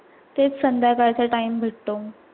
तेच संद्याकाळ चा time भेटतो